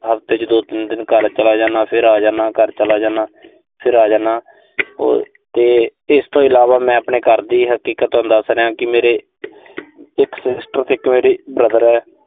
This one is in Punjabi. ਹਫ਼ਤੇ ਚ ਦੋ-ਤਿੰਨ ਦਿਨ ਘਰ ਚਲਾ ਜਾਨਾ। ਫਿਰ ਆ ਜਾਨਾ, ਘਰ ਚਲਾ ਜਾਨਾ। ਫਿਰ ਆ ਜਾਨਾ। ਅਹ ਤੇ ਇਸ ਤੋਂ ਇਲਾਵਾ ਮੈਂ ਆਪਣੇ ਘਰ ਦੀ ਹਕੀਕਤ ਤੁਹਾਨੂੰ ਦੱਸ ਰਿਹਾਂ ਕਿ ਮੇਰੇ ਇੱਕ sister ਇੱਕ ਮੇਰਾ brother